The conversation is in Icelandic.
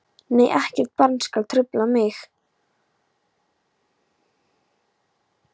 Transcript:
Nei ekkert barn skal trufla mig.